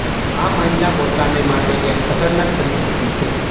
આ મહિલા પોતાને માટે એક ખતરનાક પરિસ્થિતિ છે